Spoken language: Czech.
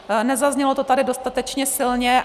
Nezaznělo to tady dostatečně silně.